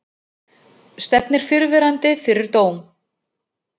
Stefnir fyrrverandi fyrir dóm